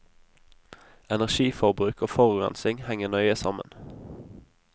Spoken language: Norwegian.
Energiforbruk og forurensing henger nøye sammen.